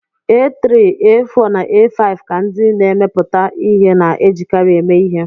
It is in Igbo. A3, A4 na A5 ka ndị na-emepụta ihe na-ejikarị eme ihe.